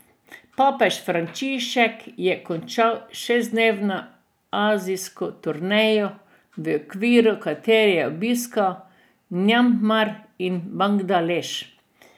Papež Frančišek je končal šestdnevno azijsko turnejo, v okviru katere je obiskal Mjanmar in Bangladeš.